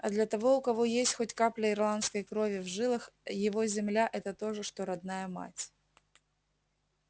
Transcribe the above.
а для того у кого есть хоть капля ирландской крови в жилах его земля это то же что родная мать